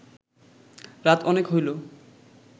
রাত অনেক হইল